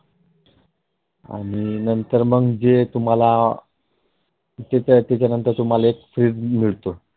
आणि नंतर मग जे तुम्हाला नंतर तुम्हाला एक तुम्हाला. Threat मिळत.